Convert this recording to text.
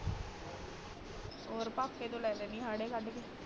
ਔਰ ਪਾਪੇ ਤੇ ਲੈ ਲੈਂਦੀ ਆ ਹਾੜੇ ਕੱਢ ਕੇ